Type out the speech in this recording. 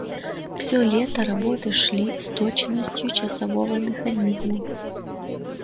все лето работы шли с точностью часового механизма